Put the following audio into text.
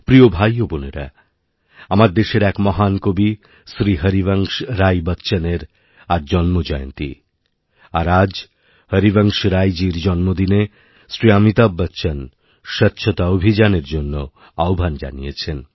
প্রিয় ভাই ও বোনেরা আমাদের দেশের এক মহান কবি শ্রী হরিবংশরাই বচ্চনের আজ জন্মজয়ন্তী আর আজ হরিবংশরাইজীর জন্মদিনে শ্রী অমিতাভ বচ্চন স্বচ্ছতাঅভিযানএর জন্য আহ্বান জানিয়েছেন